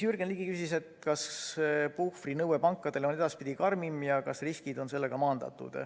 Jürgen Ligi küsis, kas pankadele esitatav puhvrinõue on edaspidi karmim ja kas riskid on sellega maandatud.